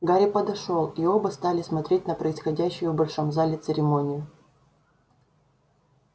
гарри подошёл и оба стали смотреть на происходящую в большом зале церемонию